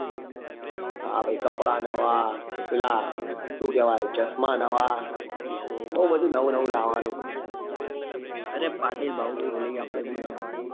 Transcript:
હા ભાઈ કપડા નવા પેલા શું કેવાય chashma અરે પાટીલ ભાઈ ભૂલી ગયા આપડે નવું નવું લાવવા નું